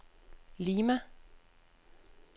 Lima